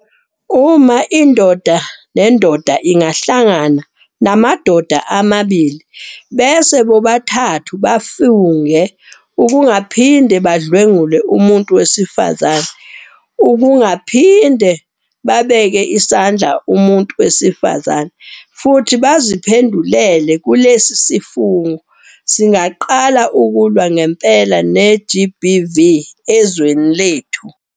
Uma indoda nendoda ingahlangana namadoda amabili bese bobathathu bafunge ukungaphinde badlwengule umuntu wesifazane, ukungaphinde babeke isandla umuntu wesifazane futhi baziphendulele kulesi sifungo, singaqala ukulwa ngempela ne-GBV ezweni lethu.